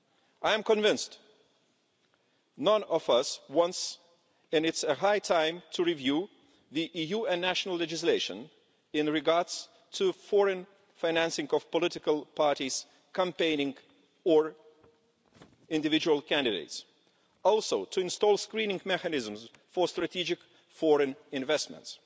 I am convinced that none of us wants this, and it is high time to review the EU and national legislation in regard to foreign financing of political parties campaigning or individual candidates, and also to install screening mechanisms for strategic foreign investments.